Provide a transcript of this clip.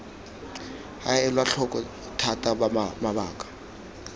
ga elwa tlhoko thata mabaka